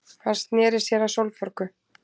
Hann sneri sér að Sólborgu.